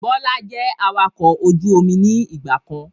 Bọlá jẹ́ awakọ̀ ojú omi ni ìgbàkan